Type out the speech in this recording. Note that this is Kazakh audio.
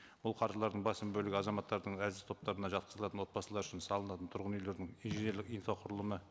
бұл қаржылардың басым бөлігі азаматтардың әлсіз топтарына жатқызылатын отбасылар үшін салынатын тұрғын үйлердің инженерлік инфрақұрылымы